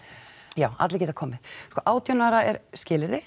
já allir geta komið sko átjánda ára er skilyrði